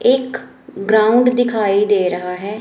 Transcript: एक ग्राउंड दिखाई दे रहा है।